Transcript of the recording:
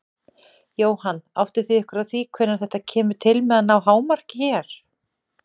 Jóhann: Áttið þið ykkur á því hvenær þetta kemur til með að ná hámarki hér?